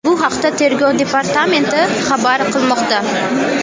Bu haqda Tergov departamenti xabar qilmoqda .